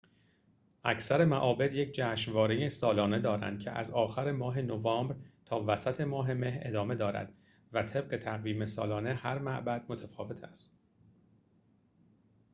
اکثر معابد یک جشنواره سالانه دارند که از آخر ماه نوامبر تا وسط ماه مه ادامه دارد و طبق تقویم سالانه هر معبد متفاوت است